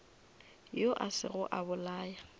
yo a sego a bolaya